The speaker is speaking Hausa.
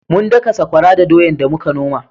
Mun daka sakwara da doyan da muka noma